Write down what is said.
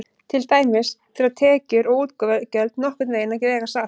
Til dæmis þurfa tekjur og útgjöld nokkurn veginn að vega salt.